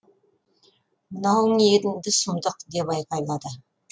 мынауың енді сұмдық деп айқайлайды